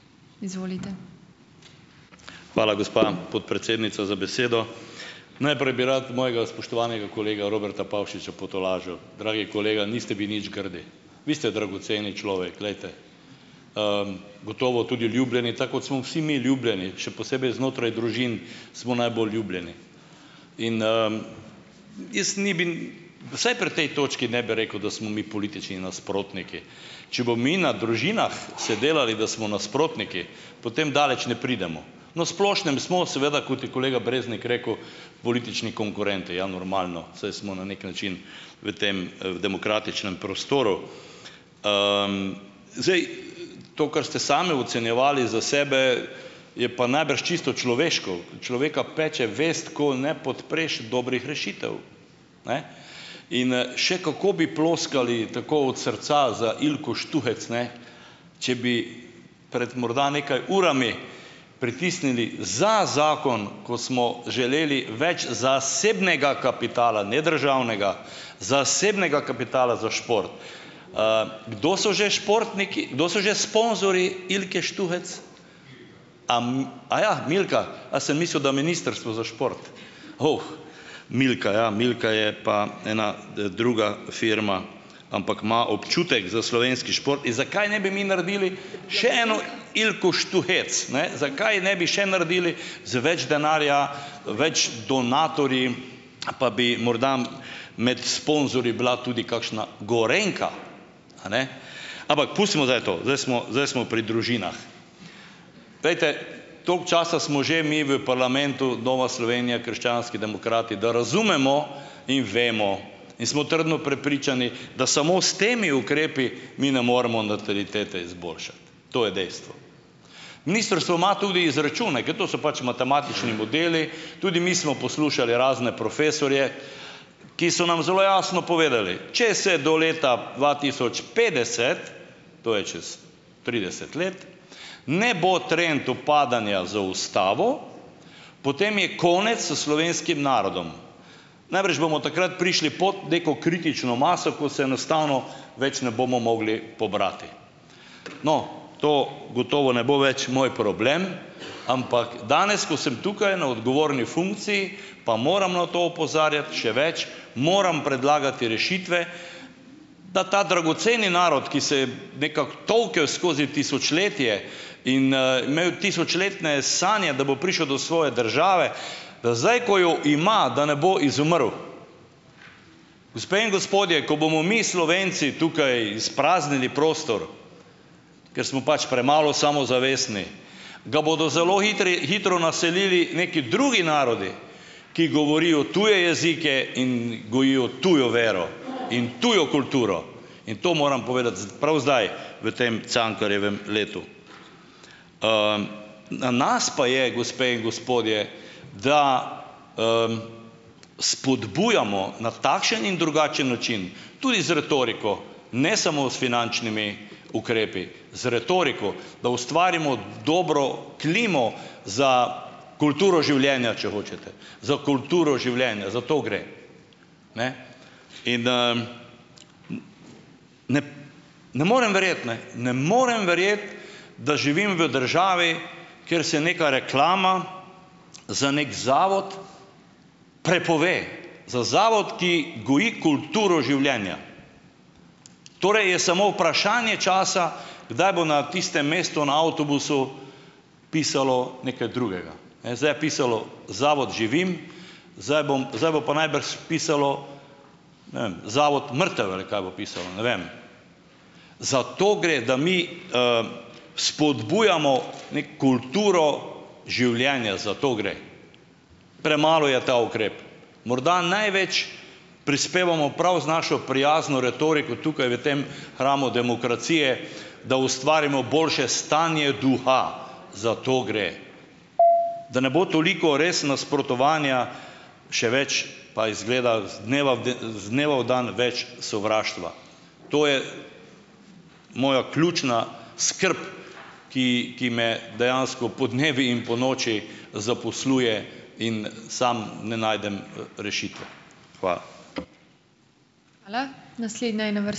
Hvala, gospa podpredsednica, za besedo. Najprej bi rad mojega spoštovanega kolega Roberta Pavšiča potolažil. Dragi kolega, niste vi nič grdi. Vi ste dragoceni človek, glejte, gotovo tudi ljubljeni, ta kot smo vsi mi ljubljeni, še posebej znotraj družin smo najbolj ljubljeni. In, jaz ni bi, vsaj pri tej točki ne bi rekel, da smo mi politični nasprotniki. Če bo mi na družinah se delali, da smo nasprotniki, potem daleč ne pridemo. Na splošnem smo seveda, kot je kolega Breznik rekel, politični konkurenti. Ja normalno, saj smo na neki način v tem, v demokratičnem prostoru. Zdaj to, kar ste sami ocenjevali za sebe, je pa najbrž čisto človeško. Človeka peče vest, ko ne podpreš dobrih rešitev. In, še kako bi ploskali tako od srca za Ilko Štuhec, ne, če bi pred morda nekaj urami pritisnili za zakon, ko smo želeli več zasebnega kapitala, ne državnega, zasebnega kapitala za šport. Kdo so že športniki, kdo so že sponzorji Ilke Štuhec? Aja, Milka. A sem mislil, da Ministrstvo za šport. Milka, ja, Milka je pa ena, druga firma, ampak ima občutek za slovenski šport. In zakaj ne bi mi naredili še eno Ilko Štuhec, ne? Zakaj ne bi še naredili z več denarja, več donatorji, pa bi morda med sponzorji bila tudi kakšna Gorenjka. Ampak pustimo zdaj to, zdaj smo, zdaj smo pri družinah. Glejte, toliko časa smo že mi v parlamentu, Nova Slovenija, krščanski demokrati, da razumemo in vemo in smo trdno prepričani, da samo s temi ukrepi mi ne moremo natalitete izboljšati. To je dejstvo. Ministrstvo ima tudi izračune, ker to so pač matematični modeli, tudi mi smo poslušali razne profesorje, ki so nam zelo jasno povedali, če se do leta dva tisoč petdeset, to je čez trideset let, ne bo trend upadanja zaustavil, potem je konec s slovenskim narodom. Najbrž bomo takrat prišli pod neko kritično maso, ko se enostavno več ne bomo mogli pobrati. To gotovo ne bo več moj problem, ampak danes, ko sem tukaj na odgovorni funkciji, pa moram na to opozarjati, še več, moram predlagati rešitve, da ta dragoceni narod, ki se je nekako tolkel skozi tisočletje in, imel tisočletne sanje, da bo prišel do svoje države, da zdaj, ko jo ima, da ne bo izumrl. Gospe in gospodje, ko bomo mi Slovenci tukaj izpraznili prostor, ker smo pač premalo samozavestni, ga bodo zelo hitri hitro naselili neki drugi narodi, ki govorijo tuje jezike in gojijo tujo vero in tujo kulturo. In to moram povedati prav zdaj v tem Cankarjevem letu. Na nas pa je, gospe in gospodje, da spodbujamo na takšen in drugačen način tudi z retoriko, ne samo s finančnimi ukrepi, z retoriko, da ustvarimo dobro klimo za kulturo življenja, če hočete, za kulturo življenja. Za to gre. In, ne morem verjeti, ne, ne morem verjeti, da živim v državi, kjer se neka reklama za neki zavod prepove, za zavod, ki goji kulturo življenja. Torej je samo vprašanje časa, kdaj bo na tistem mestu na avtobusu pisalo nekaj drugega. Ne zdaj je pisalo Zavod Živim, zdaj bom, zdaj bo pa najbrž pisalo, ne vem, Zavod Mrtev ali kaj bo pisalo, ne vem. Za to gre, da mi spodbujamo ne kulturo življenja, za to gre. Premalo je ta ukrep. Morda največ prispevamo prav z našo prijazno retoriko tukaj v tem hramu demokracije, da ustvarimo boljše stanje duha, za to gre. Da ne bo toliko res nasprotovanja, še več, pa izgleda iz dneva v iz dneva v dan več sovraštva. To je moja ključna skrb, ki ki me dejansko podnevi in ponoči zaposluje in sam ne najdem, rešitve. Hvala.